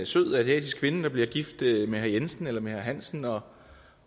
sød asiatisk kvinde bliver gift med herre jensen eller herre hansen og